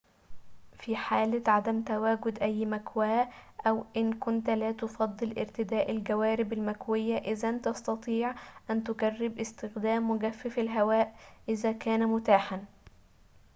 في حالة عدم تواجد أي مكواة أو إن كنت لا تفضل ارتداء الجوارب المكوية إذن تستطيع أن تجرب استخدام مجفف الهواء إذا كان متاحاً